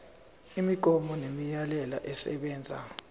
imigomo nemiyalelo esebenza